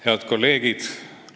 Head kolleegid!